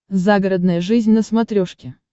загородная жизнь на смотрешке